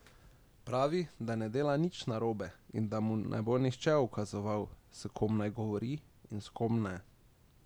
Pravi, da ne dela nič narobe in da mu ne bo nihče ukazoval, s kom naj govori in s kom ne.